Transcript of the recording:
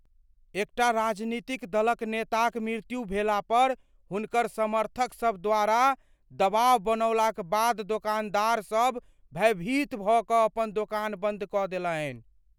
एकटा राजनीतिक दलक नेताक मृत्यु भेला पर हुनकर समर्थकसभ द्वारा दबाव बनौलाक बाद दोकानदारसब भयभीत भऽ कऽ अपन दोकान बन्द कऽ देलनि।